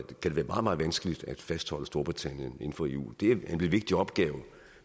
det være meget meget vanskeligt at fastholde storbritannien inden for eu det er en vigtig opgave